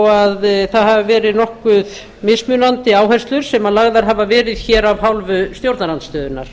þó það hafi verið nokkuð mismunandi áherslur sem lagðar hafa verið hér af hálfu stjórnarandstöðunnar